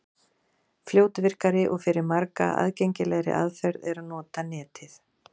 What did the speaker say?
Fljótvirkari og fyrir marga aðgengilegri aðferð er að nota Netið.